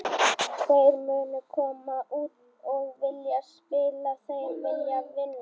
Þeir munu koma út og vilja spila, þeir vilja vinna.